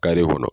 kɔnɔ